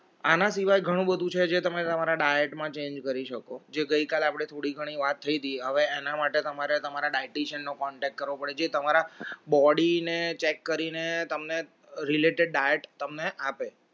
આના સિવાય ઘણું બધું છે જે તમે તમારા diet માં change કરી શકો જે ગઈ કાલે આપણે થોડી ઘણી વાત એના માટે તમારે તમારા dieticien નો contact કરવો પડે છે તમારા body ને check કરીને તમને related diet તમને આપે